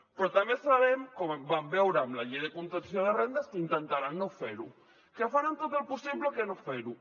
però també sabem com vam veure amb la llei de contenció de rendes que intentaran no fer ho que faran tot el possible per no fer ho